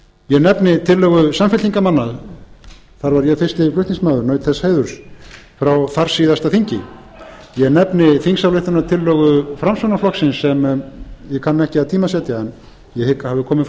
ég nefni tillögu samfylkingarmanna þar var ég fyrsti flutningsmaður naut þess heiðurs frá þarsíðasta þingi ég nefni þingsályktunartillögu framsóknarflokksins sem ég kann ekki að tímasetja en ég hygg